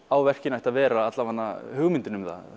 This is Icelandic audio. á verkinu ætti að vera allavega hugmyndin um það